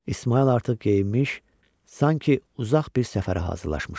İsmayıl artıq geyinmiş, sanki uzaq bir səfərə hazırlanmışdı.